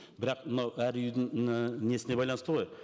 бірақ мынау әр үйдің і несіне байланысты ғой